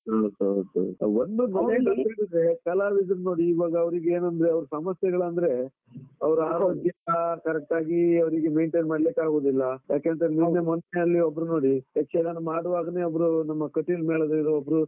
ಹೌದು ಹೌದು ಹೌದು ಒಂದು ನೋಡಿ ಕಲಾವಿದರನ್ನ ನೋಡಿ ಇವಾಗವರಿಗೆನಂದ್ರೆ, ಸಮಸ್ಯೆಗಳಂದ್ರೆ ಅವರ ಆರೋಗ್ಯ correct ಆಗಿ ಅವರಿಗೆ maintain ಮಾಡ್ಲಿಕ್ಕೆ ಆಗುದಿಲ್ಲ, ಯಾಕೆಂತಂದ್ರೆ ಮೊನ್ನೆ ಅಲ್ಲಿ ಒಬ್ರು ನೋಡಿ, ಯಕ್ಷಗಾನ ಮಾಡುವಾಗನೆ ಒಬ್ರು ನಮ್ಮ ಕಟೀಲ್ ಮೇಳದಿಂದ ಒಬ್ರು.